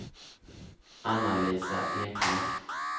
Anna-Lisa Eklund